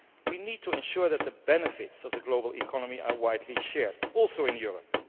We need to ensure that the benefits of the global economy are widely shared, also in Europe.